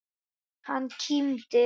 Hann kímdi.